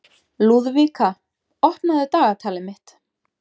Lúðvíka, opnaðu dagatalið mitt.